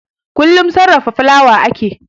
Kullum cikin sarrafa fulawa ake